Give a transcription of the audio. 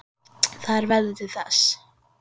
Það er veðrið til þess.